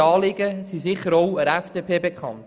Deren Anliegen sind sicher auch der FDP bekannt.